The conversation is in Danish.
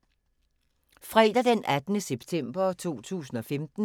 Fredag d. 18. september 2015